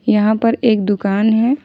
यहां पर एक दुकान है।